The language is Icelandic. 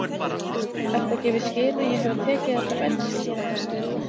Ertu að gefa í skyn að ég hafi tekið þetta bensín?